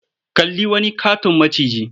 Kalli wani ƙaton maciji.